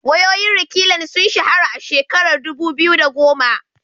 Wayoyin Reklan sun shahara a shekarar dubu biyu da goma.